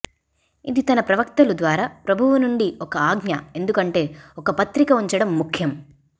ఇది తన ప్రవక్తలు ద్వారా ప్రభువు నుండి ఒక ఆజ్ఞ ఎందుకంటే ఒక పత్రిక ఉంచడం ముఖ్యం